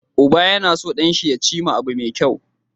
Uba yAna so dan shi ya cima abu me kyau